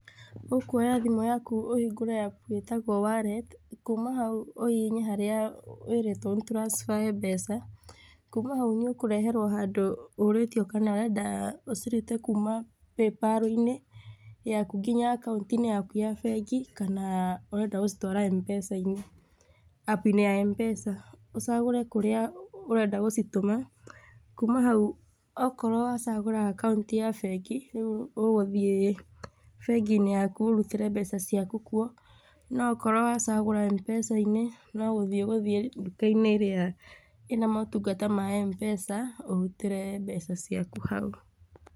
Ũkũoya thimũ yaku ũhingũre app ĩtagwo wallet kuuma hau, ũhihinye harĩa wĩrĩtwo ũ transfer mbeca, kuuma hau nĩ ũkũreherwo handũ ũũrĩtio kana ũrenda ũcirute kuuma Paypal-inĩ yaku nginya akaũnti-inĩ yaku ya bengi kana ũrenda gũcitwara M-Pesa-inĩ, app-inĩ ya M-Pesa, ũcagũre kũrĩa ũrenda gũcitũma, kuuma hau, akorũo wacagũra akaũnti ya bengi rĩu ũgũthiĩ bengi-inĩ yaku, ũrutĩre mbeca ciaku kuo, no akorũo wacagũra M-Pesa-inĩ no gũthiĩ ũgũthiĩ nduka-inĩ ĩrĩa ĩ na motungata ma M-Pesa ũrutĩre mbeca ciaku hau.